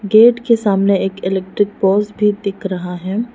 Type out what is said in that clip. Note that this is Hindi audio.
गेट के सामने एक इलेक्ट्रिक पोल्स भी दिख रहा है।